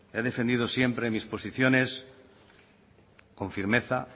he defendido siempre mis posiciones con firmeza